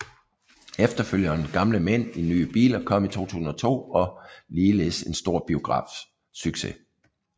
Efterfølgeren Gamle mænd i nye biler kom i 2002 og ligeledes en stor biografsucces